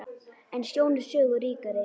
En sjón er sögu ríkari.